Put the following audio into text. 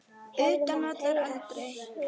Utan vallar: aldrei.